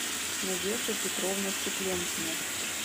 надежда петровна цыпленкина